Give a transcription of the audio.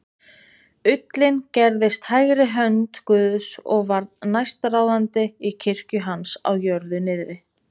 ullinn gerðist hægri hönd guðs og varð næstráðandi í kirkju hans á jörðu niðri.